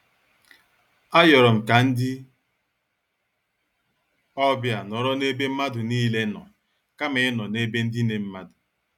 A yorom ka ndị ọbịa nọrọ n'ebe mmadụ niile nọ kama ịnọ n' ebe ndine mmadụ.